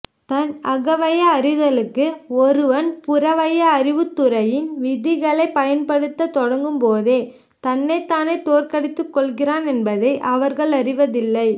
தன் அகவய அறிதலுக்கு ஒருவன் புறவய அறிவுத்துறையின் விதிகளைப் பயன்படுத்தத் தொடங்கும்போதே தன்னைத்தானே தோற்கடித்துக்கொள்கிறான் என்பதை அவர்கள் அறிவதில்லை